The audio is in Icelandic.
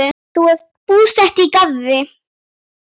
Þau eru búsett í Garði.